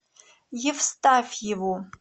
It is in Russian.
евстафьеву